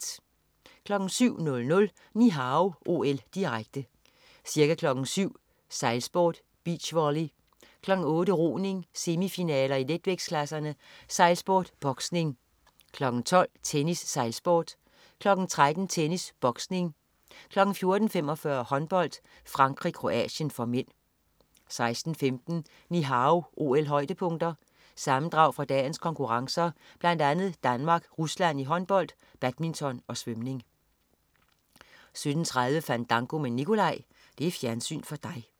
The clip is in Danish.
07.00 Ni Hao OL, direkte. Ca. kl. 07.00: Sejlsport, beach volley, kl. 08.00: Roning, semifinaler i letvægtsklasserne, sejlsport, boksning, kl. 12.00: Tennis, sejlsport, kl. 13.00: Tennis, boksning, kl. 14.45: Håndbold: Frankrig-Kroatien (m) 16:15 Ni Hao OL-højdepunkter. Sammendrag fra dagens konkurrencer, blandt andet Danmark-Rusland i håndbold, badminton og svømning 17.30 Fandango med Nicolai. Fjernsyn for dig